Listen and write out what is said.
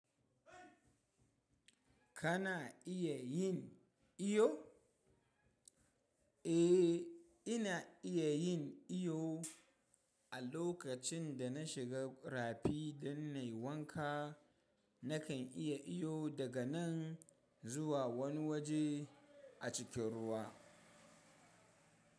Kana iya yin iyo? Eh ina iya yin iyo. A lokacin da na shiga rafi don nai wanka, na kan iya iyo daga nan zuwa wani waje a cikin ruwa.